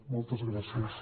moltes gràcies